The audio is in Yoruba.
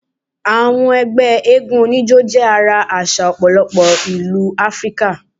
Àwọn egbé eégún onijo jé ara àsà òpòlopo ìlú áfríkà